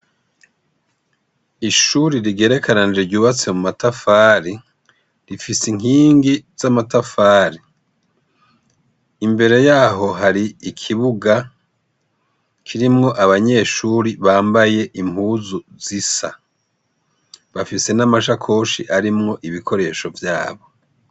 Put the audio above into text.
Ishuri rigerekeranije ryubatse mu matafari rifise inkingi z'amatafari, imbere yaho hari ikibuga kirimwo abanyeshuri bambaye impuzu zisa bafise n'amashakoshi arimwo ibikoresho vyabo.